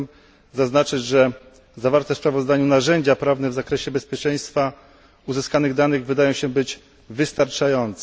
Chciałbym zaznaczyć, że zawarte w sprawozdaniu narzędzia prawne w zakresie bezpieczeństwa uzyskanych danych wydają się być wystarczające.